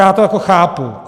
Já to jako chápu.